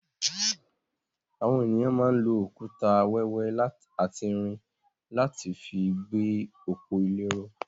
Àwọn ènìyàn máa ń lò òkúta wẹ́wẹ́ àti irin láti fi gbé òpó ile ró.